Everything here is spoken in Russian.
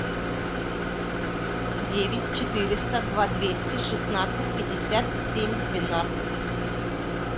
девять четыреста два двести шестнадцать пятьдесят семь двенадцать